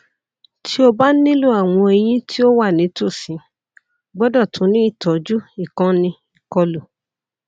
ti o ba nilo awọn eyin ti o wa nitosi gbọdọ tun ni itọju ikanni ikolu